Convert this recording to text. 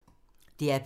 DR P2